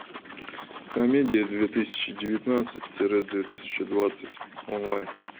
комедия две тысячи девятнадцать тире две тысячи двадцать онлайн